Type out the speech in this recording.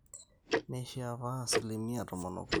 Neishiaa paa 13%